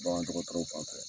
Bagandɔgɔtɔrɔw fan fɛ.